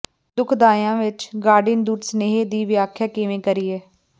ਦੁਖਦਾਈਆਂ ਵਿਚ ਗਾਰਡੀਅਨ ਦੂਤ ਸੁਨੇਹੇ ਦੀ ਵਿਆਖਿਆ ਕਿਵੇਂ ਕਰੀਏ